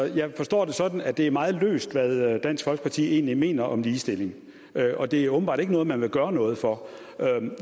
jeg forstår det sådan at det er meget løst hvad dansk folkeparti egentlig mener om ligestilling og det er åbenbart ikke noget man vil gøre noget for